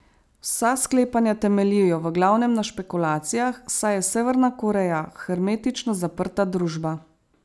Vsa sklepanja temeljijo v glavnem na špekulacijah, saj je Severna Koreja hermetično zaprta družba.